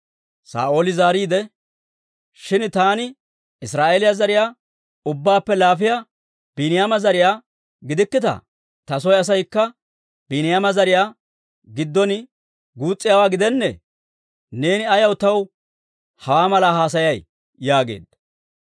Saa'ooli zaariide, «Shin taani Israa'eeliyaa zariyaa ubbaappe laafiyaa Biiniyaama zariyaa gidikkittaa? Ta soy asaykka Biiniyaama zariyaa giddon guus's'iyaawaa gidennee? Neeni ayaw taw hawaa malaa haasayay?» yaageedda.